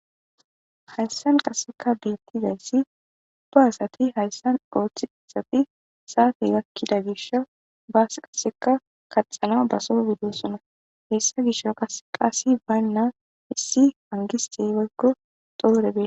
hayssan qaseka deettizayssi do asati hayssan ooththi isati saate gakkida gisho baas qaseka kaxana baso gidesona hessa gisho qas qaasi baynna hissi pangisey waggo doore bie